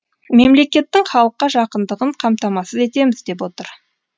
мемлекеттің халыққа жақындығын қамтамасыз етеміз деп отыр